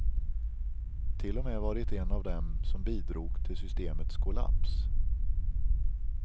Till och med varit en av dem som bidrog till systemets kollaps.